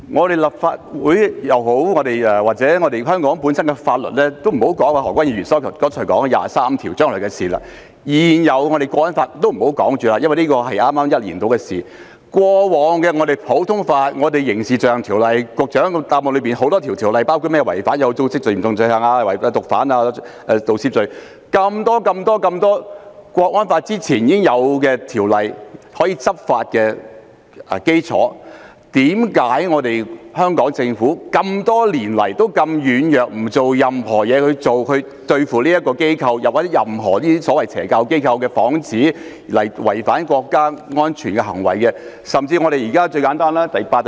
何君堯議員剛才提到就二十三條立法是將來的事，而現有的《香港國安法》也只是在1年前才制定，但普通法及局長在主體答覆中提及的多項法例，包括《刑事罪行條例》、《有組織及嚴重罪行條例》、《販毒條例》及《盜竊罪條例》，在制定《香港國安法》前已經存在，這些條例都是執法的基礎，但香港政府多年來表現軟弱，沒有對付這些機構或打着宗教幌子作出違反國家安全的行為的所謂邪教機構。